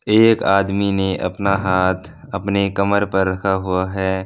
एक आदमी ने अपना हाथ अपने कमर पर रखा हुआ हैं।